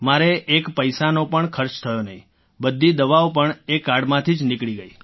મારે એક પૈસાનો પણ ખર્ચ થયો નહીં બધી દવાઓ પણ એ કાર્ડમાંથી જ નીકળી ગઈ